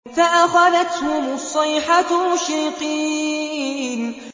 فَأَخَذَتْهُمُ الصَّيْحَةُ مُشْرِقِينَ